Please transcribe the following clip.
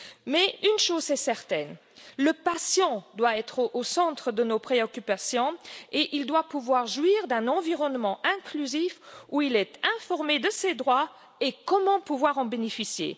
Mais une chose est certaine le patient doit être au centre de nos préoccupations et il doit pouvoir jouir d'un environnement inclusif, où il est informé de ses droits et de la manière dont il peut en bénéficier.